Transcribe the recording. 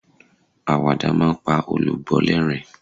awada ma n pa olùgbọ l'ẹrin